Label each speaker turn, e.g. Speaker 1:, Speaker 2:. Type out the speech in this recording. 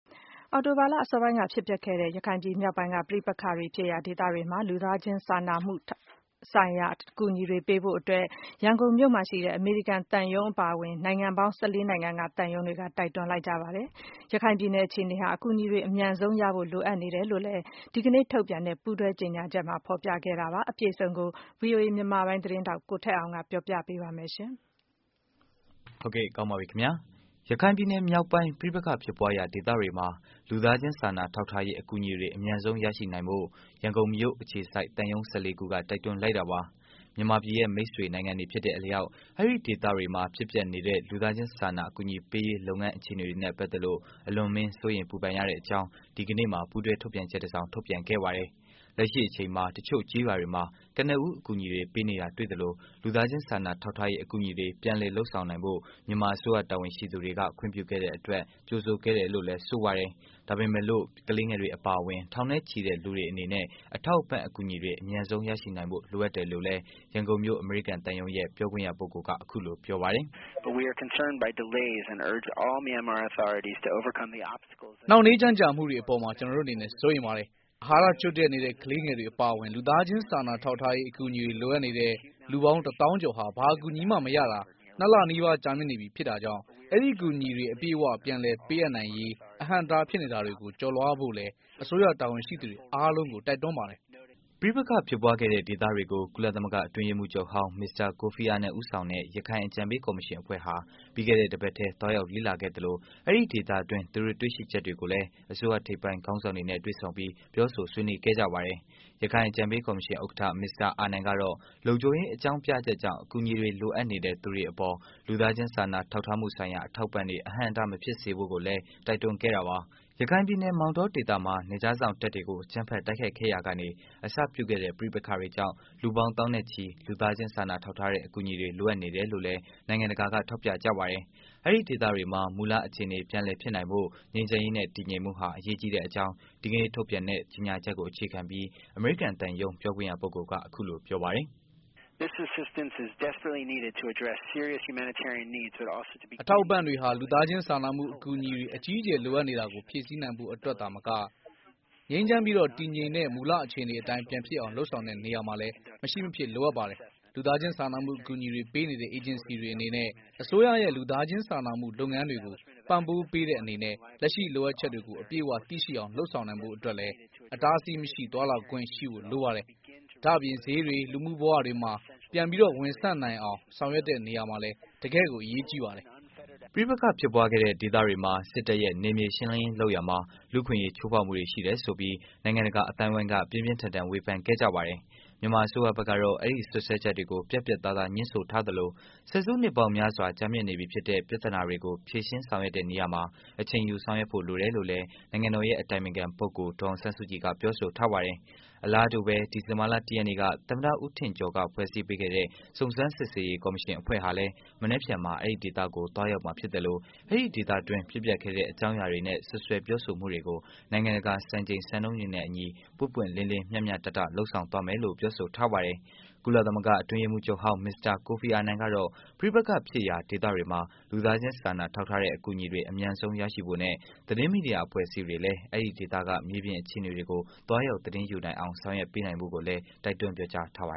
Speaker 1: အောက်တိုဘာလ အစောပိုင်းက ဖြစ်ပျက်ခဲ့တဲ့ ရခိုင်ပြည် မြောက်ပိုင်းက ပဋိပက္ခဖြစ်ရာဒေသတွေမှာ လူသားချင်းစာနာထောက်ထားမှုဆိုင်ရာ အကူအညီတွေ ပေးနိုင်ဖို့ ရန်ကုန်မြို့မှာရှိတဲ့ အမေရိကန် သံရုံးအပါအဝင် နိုင်ငံပေါင်း ၁၄ နိုင်ငံက သံရုံးတွေကတိုက်တွန်းလိုက်ကြပါတယ်။ ရခိုင်ပြည်နယ်က အခြေအနေဟာ အကူအညီတွေ အမြန်ဆုံးရဖို့လိုအပ်နေတယ်လို့လည်း ဒီကနေ့ထုတ်ပြန်ခဲ့တဲ့ ပူးတွဲကြေညာချက်မှာ ဖော်ပြခဲ့တာပါ။ အပြည့်အစုံကိုတော့ ဗွီအိုအေ မြန်မာပိုင်း သတင်းထောက် ကိုထက်အောင်က တင်ပြပေးမှာပါ။ ရခိုင်ပြည်နယ် မြောက်ပိုင်း ပဋိပက္ခဖြစ်ပွားရာ ဒေသတွေမှာ လူသားချင်း စာနာထောက်ထားရေး အကူအညီတွေ အမြန်ဆုံး ရရှိနိုင်ဖို့ ရန်ကုန်မြို့ အခြေစိုက် သံရုံး ၁၄ ခုက တိုက်တွန်းလိုက်တာပါ။ မြန်မာပြည်ရဲ့ မိတ်ဆွေနိုင်ငံတွေ ဖြစ်တဲ့ အလျောက် အဲဒီ့ဒေသတွေမှာ ဖြစ်ပျက်နေတဲ့ လူသားချင်း စာနာ အကူအညီပေးရေး လုပ်ငန်း အခြေအနေတွေနဲ့ ပတ်သတ်လို့ အလွန်အမင်း စိုးရိမ် ပူပန်ရတဲ့ အကြောင်း ဒီကနေ့မှာ ပူးတွဲ ထုတ်ပြန်ချက်တစ်စောင် ထုတ်ပြန်ခဲ့ပါတယ်။ လက်ရှိအချိန်မှာ တစ်ချို့ ကျေးရွာတွေမှာ ကနဦး အကူအညီတွေ ပေးနေ တာ တွေ့သလို လူူသားချင်းစာနာထောက်ထားရေး အကူအညီတွေ ပြန်လည် လုပ်ဆောင်နိုင်ဖို့ မြန်မာ အစိုးရတာဝန်ရှိသူတွေက ခွင့်ပြုခဲ့တဲ့အတွက် ကြိုဆိုတယ်လို့လည်း ဆိုပါတယ်။ ဒါပေမဲ့လို့ ကလေးငယ်တွေ အပါအဝင် ထောင်နဲ့ချီတဲ့ လူတွေအနေနဲ့ အထောက်အပံ့ အကူအညီတွေ အမြန်ဆုံး ရရှိဖို့ လိုအပ်တယ်လို့လည်း ရန်ကုန်မြို့အမေရိကန် သံရုံးရဲ့ ပြောခွင့်ရ ပုဂ္ဂိုလ်က အခုလို ပြောပါတယ်။
Speaker 2: "နှောင့်နှေးကြန့်ကြာမှုတွေအပေါ် ကျနော်တို့အနေနဲ့ စိုးရိမ်ပါတယ်။ အာဟာရချို့နေတဲ့ ကလေးငယ်တွေအပါအဝင် လူသားချင်းစာနာထောက်ထားရေး အကူအညီတွေ လိုအပ်နေတဲ့ လူပေါင်း တစ်သောင်းကျော်ဟာ ဘာအကူအညီမှ မရရှိတာ နှစ်လ နီးပါး ကြာာမြင့်နေပြီ ဖြစ်တာကြောင့်၊ အကူအညီတွေ အပြည့်အ၀ ပြန်လည်ပေး အပ်နိုင်ရေး၊အဟန့်အတား ဖြစ်နေတာတွေကို ကျော်လွှားဖို့လည်း အစိုးရ တာဝန်ရှိသူတွေ အားလုံးကို တိုက်တွန်းပါတယ်။"
Speaker 1: ပဋိပက္ခဖြစ်ပွားခဲ့တဲ့ ဒေသတွေကို ကုလသမဂ္ဂ အတွင်းရေးမှုးချုပ်ဟောင်း မစ္စတာ ကိုဖီအာနန် ဦးဆောင်တဲ့ ရခိုင်အကြံပေးကော်မရှင်အဖွ့ဲဟာ ပြီးခဲ့တဲ့ တစ်ပတ်ထဲ သွားရောက်လေ့လာခဲ့သလို အဲဒီ့ဒေသတွင်း သူတို့ တွေ့ရှိချက်တွေကိုလည်း အစိုးရထိပ်ပိုင်း ခေါင်းဆောင်တွေနဲ့ တွေ့ဆုံပြီး ပြောဆို ဆွေးနွေးခဲ့ကြပါတယ်။ ရခိုင် အကြံပေး ကော်မရှင် ဥက္ကဌ မစ္စတာ အာနန်ကတော့ လုံခြုံရေး အကြောင်းပြချက်ကြောင့် အကူအညီလိုအပ်နေတဲ့ လူတွေအပေါ်မှာ လူသားချင်း စာနာ ထောက်ထားမှုဆိုင်ရာ အထောက်အပံတွေ အဟန့်အတား မဖြစ်စေဖို့ကိုလည်း တိုက်တွန်းခဲ့တာပါ။ ရခိုင်ပြည်နယ် မောင်တော ဒေသမှာ နယ်ခြားစောင့်တပ်တွေကို အကြမ်းဖက် တိုက်ခိုက်ရာကနေ အစပြုခဲ့တဲ့ ပဋိပက္ခတွေကြောင့် လူပေါင်း သောင်းနဲ့ချီ လူသားချင်း စာနာထောက်ထားတဲ့ အကူအညီတွေ လိုအပ်နေတယ်လို့လည်း နိုင်ငံတကာ က ထောက်ပြကြပါတယ်။ အဲဒီ့ဒေသတွေမှာ မူလ အခြေအနေ ပြန်လည် ဖြစ်နိုင် ဖို့ ငြိမ်းချမ်းရေးနဲ့ တည်ငြိမ်မှုဟာ အရေးကြီးတဲ့ အကြောင်း ဒီကနေ့ ထုတ်ပြန်တဲ့ ကြေညာချက် ကို အခြေခံပြီး အမေရိကန်သံရုံး ပြောခွင့်ရ ပုဂ္ဂိုလ်က အခုလို ပြောပါတယ်။ "
Speaker 2: အထောက်အပံ့တွေဟာ လူသားချင်းစာနာမှုအကူအညီတွေ အကြီးအကျယ် လိုအပ်နေတာကို ဖြည့်ဆည်းနိုင်ဖို့ အတွက်သာမက၊ ငြိမ်းချမ်းပြီးတည်ငြိမ်တဲ့ မူလအခြေအနေတိုင်း ပြန်ဖြစ်အောင် လုပ်ဆောင်ရာမှာလည်း မရှိမဖြစ် လိုအပ်ပါတယ်။ လူသားချင်းစာနာမှု အကူအညီပေးနေတဲ့ အေဂျင်စီတွေ အနေနဲ့ အစိုးရရဲ့ လူသားချင်းစာနာမှု လုပ်ငန်းတွေကို ပံ့ပိုးပေးတဲ့ အနေနဲ့ လက်ရှိလိုအပ်ချက်တွေကို အပြည့်အ၀ သိရှိနိုင်အောင် လုပ်ဆောင်နိုင်ဖို့ အတွက်လည်း အတားအဆီးမရှိ သွားလာခွင့်ရှိဖို့ လိုပါတယ်။ ဒါ့အပြင် ဈေးတွေ၊ လူမှုဘဝတွေမှာ ပြန်လည်ဝန်ဆန့်နိုင်အောင် ဆောင်ရွက်ရာမှာလည်း တကယ့်ကို အရေးကြီးပါတယ်။
Speaker 1: " ပဋိပက္ခဖြစ်ပွားခဲ့တဲ့ ဒေသတွေမှာ စစ်တပ်ရဲ့ နယ်မြေရှင်းလင်းရေး လုပ်ရာမှာ လူ့အခွင့်အရေး ချိုးဖောက်မှုတွေ ရှိတယ်ဆိုပြီး နိုင်ငံတကာ အသိုင်းအဝိုင်း က ပြင်းပြင်းထန်ထန် ဝေဖန်ခဲ့ကြတာပါ။ မြန်မာ အစိုးရဖက်ကတော့ အဲဒီ့စွပ်စွဲချက်တွေကို ပြတ်ပြတ်သားသား ငြင်းဆိုထားသလို ဆယ်စုနှစ်ပေါင်းများစွာ ကြာမြင့်နေပြီဖြစ်တဲ့ ပြဿနာတွေကို ဖြေရှင်းဆောင်ရွက်တဲ့နေရာမှာ အချိန်ယူ ဆောင်ရွက်ဖို့လိုတယ်လို့လည်း နိုင်ငံတော်ရဲ့အတိုင်ပင်ခံ ပုဂ္ဂိုလ် ဒေါ်အောင်ဆန်းစုကြည်က ပြောဆိုထားပါတယ်။ အလားတူပဲ ဒီဇင်ဘာလ ၁ ရက်နေ့က သမ္မတ ဦးထင်ကျော်က ဖွဲ့စည်းပေးခဲ့တဲ့ စုံစမ်းစစ်ဆေးရေး ကော်မရှင်အဖွဲ့ဟာလည်း မနက်ဖြန်မှာ အဲဒီ့ဒေသတွေကို သွားရောက်မှာ ဖြစ်သလို အဲဒီ့ဒေသတွင်းက ဖြစ်ပျက်ခဲ့တဲ့ အကြောင်းအရာတွေနဲ့ စွပ်စွပ်ပြောဆိုမှုတွေကို နိုင်ငံတကာစံချိန် စံနှုန်းတွေနဲ့ အညီ ပွင့်ပွင့်လင်းလင်း မျှမျှတတ လုပ်ဆောင်သွားမယ်လို့ ပြောဆိုထားပါတယ်။ ကုလသမဂ္ဂ အတွင်းရေးမှူးချုပ်ဟောင်း မစ္စတာ ကိုဖီအာနန်ကတော့ ပဋိပက္ခ ဖြစ်ရာ ဒေသတွေမှာ လူသားချင်းစာနာထောက်ထားတဲ့ အကူအညီတွေ အမြန်ဆုံး ရရှိဖို့နဲ့ သတင်းမီဒီယာ အဖွဲ့အစည်းတွေလည်းအဲဒီ့ဒေသက မြေပြင် အခြေအနေတွေကို သွားရောက် သတင်းယူနိုင်အောင် ဆောင်ရွက်ပေးနိုင်ဖို့ကိုလည်း တိုက်တွန်းပြောကြားထားပါ